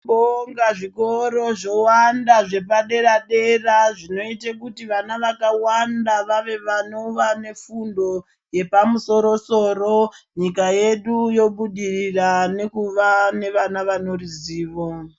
Tinobonga zvikoro zvowanda zvepadera dera zvinoite kuti vana vakawanda vave vanova nefundo yepamusoro soro nyika yedu yobudirira nekuva nevana vane ruzivo.